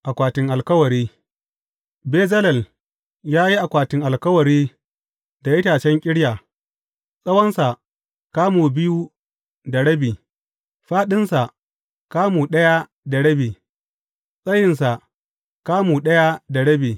Akwatin alkawari Bezalel ya yi akwatin alkawari da itacen ƙirya, tsawonsa kamu biyu da rabi, fāɗinsa kamu ɗaya da rabi, tsayinsa kamu ɗaya da rabi.